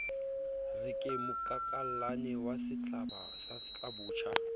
re ke mokakallane wa setlabotjha